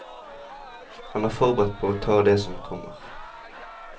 Han er forberedt på å ta det som kommer.